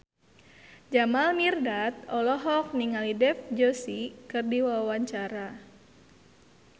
Jamal Mirdad olohok ningali Dev Joshi keur diwawancara